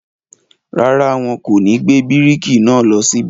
rárá, wọn kò ní gbé bíríkì náà lọ síbẹ̀.